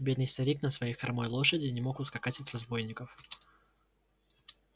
бедный старик на своей хромой лошади не мог ускакать от разбойников